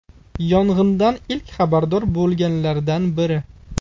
Yong‘indan ilk xabardor bo‘lganlardan biri.